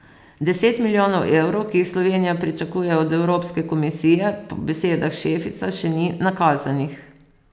Deset milijonov evrov, ki jih Slovenija pričakuje od Evropske komisije, po besedah Šefica še ni nakazanih.